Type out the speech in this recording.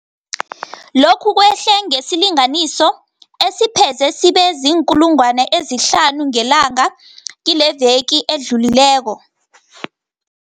Lokhu kwehle ngesilinganiso esipheze sibe ziinkulungwana ezihlanu ngelanga kileveke edlulileko.